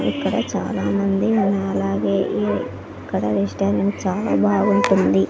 ఇక్కడ చాలామంది అలాగే ఇక్కడ రెస్టారెంట్ చాలా బాగుంటుంది.